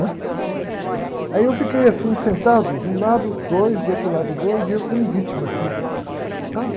né? Aí eu fiquei assim, sentado, de um lado dois, de outro lado dois, e eu que nem vítima aqui, sabe?